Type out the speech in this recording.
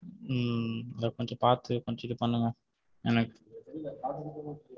உம் அது கொஞ்சம் பாத்து கொஞ்சம் இது பண்ணுங்க எனக்கு.